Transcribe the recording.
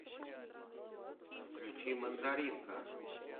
включи мандаринка